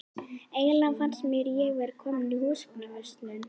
Eiginlega fannst mér ég vera komin í húsgagnaverslun.